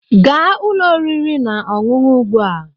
Gaa ụlọ oriri na ọṅụṅụ ugbu a!